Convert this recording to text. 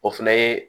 O fɛnɛ ye